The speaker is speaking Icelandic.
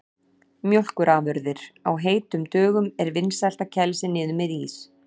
Mjólkurafurðir: Á heitum dögum er vinsælt að kæla sig niður með ís.